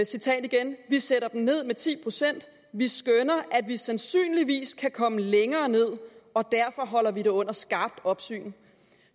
citat igen vi sætter dem ned med ti procent vi skønner at vi sandsynligvis kan komme længere ned og derfor holder vi det under skarpt opsyn